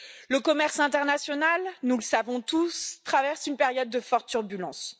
Le commerce international, nous le savons tous, traverse une période de fortes turbulences.